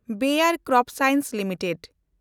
ᱵᱟᱭᱮᱱᱰ cropscience limited